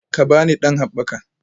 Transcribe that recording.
Ka ba ni ɗan haɓɓaka